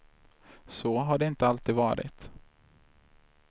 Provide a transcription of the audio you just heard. Så har det inte alltid varit.